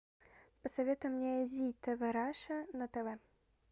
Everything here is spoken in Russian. посоветуй мне зи тв раша на тв